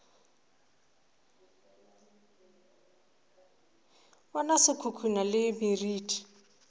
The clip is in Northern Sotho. bona se khukhuna le meriti